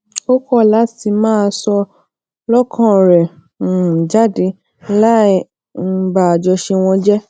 ó kó lati máa sọ lókàn rè um jáde láì um ba àjọṣe wọn jé